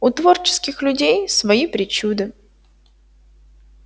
у творческих людей свои причуды